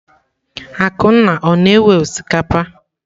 Akunna o-na ewe osikapa?